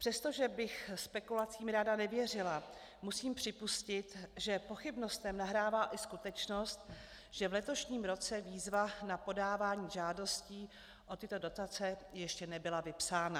Přestože bych spekulacím ráda nevěřila, musím připustit, že pochybnostem nahrává i skutečnost, že v letošním roce výzva na podávání žádostí o tyto dotace ještě nebyla vypsána.